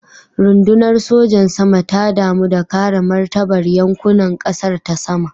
Rundunar sojan sama ta damu da kare martabar yankunan kasar ta sama.